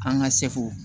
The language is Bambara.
An ka seko